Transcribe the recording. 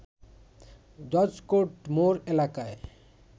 judge court মোড় এলাকায়